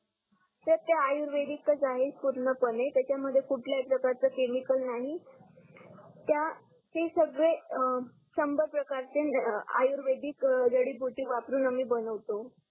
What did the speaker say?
sir ते आयुर्वेदीकच आहे पूर्ण पणे त्याचात मध्ये कुठल्या ही प्रकारच केमिकल नाही त्या ते सगडे संभर प्रकारचे आयुर्वेदीक जडी बुटी वापरुन आम्ही बनवतो